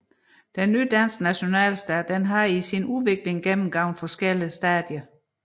Den nye danske nationalstat havde i sin udvikling gennemgået forskellige stadier